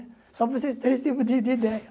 Só para vocês terem esse tipo de de ideia.